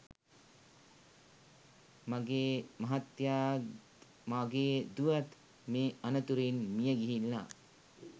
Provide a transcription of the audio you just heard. මගේ මහත්තයාත් මගේ දුවත් මේ අනතුරින් මියගිහිල්ලා